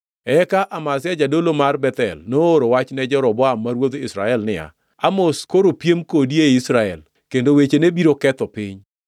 Eka Amazia jadolo mar Bethel nooro wach ne Jeroboam ma ruodh Israel niya, “Amos, koro piem kodi ei Israel, kendo wechene biro ketho piny.